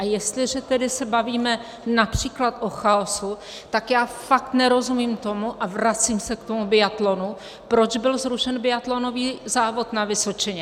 A jestliže tedy se bavíme například o chaosu, tak já fakt nerozumím tomu, a vracím se k tomu biatlonu, proč byl zrušen biatlonový závod na Vysočině.